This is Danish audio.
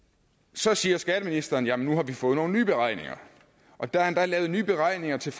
så siger skatteministeren jamen nu har vi fået nogle nye beregninger og der er endda lavet nye beregninger til